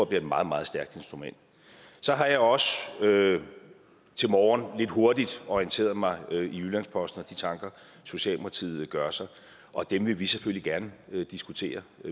bliver et meget meget stærkt instrument så har jeg også til morgen lidt hurtigt orienteret mig i jyllands posten de tanker socialdemokratiet gør sig og dem vil vi selvfølgelig gerne diskutere